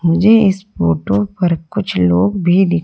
मुझे इस फोटो पर कुछ लोग भी दिख--